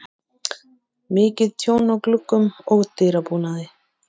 Mikið tjón á gluggum og dyrabúnaði.